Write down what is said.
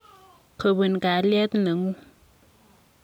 Kobun kalyet nengung.